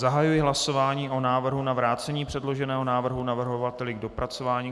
Zahajuji hlasování o návrhu na vrácení předloženého návrhu navrhovateli k dopracování.